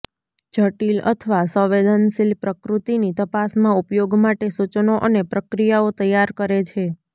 જટીલ અથવા સંવેદનશીલ પ્રકૃતિની તપાસમાં ઉપયોગ માટે સૂચનો અને પ્રક્રિયાઓ તૈયાર કરે છે